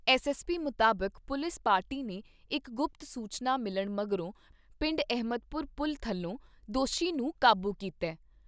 SSP ਮੁਤਾਬਿਕ police party ਨੇ ਇਕ ਗੁਪਤ ਸੂਚਨਾ ਮਿਲਣ ਮਗਰੋਂ ਪਿੰਡ ਅਹਿਮਦਪੁਰ ਪੁਲ ਥੱਲੇ ਦੋਸ਼ੀ ਨੂੰ ਕਾਬੂ ਕੀਤਾ ।